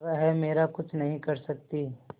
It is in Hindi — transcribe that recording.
वह मेरा कुछ नहीं कर सकती